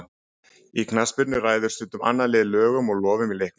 Í knattspyrnu ræður stundum annað liðið lögum og lofum í leiknum.